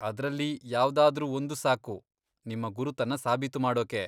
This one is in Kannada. ಅದ್ರಲ್ಲಿ ಯಾವ್ದಾದ್ರೂ ಒಂದು ಸಾಕು ನಿಮ್ಮ ಗುರುತನ್ನ ಸಾಬೀತು ಮಾಡೋಕೆ.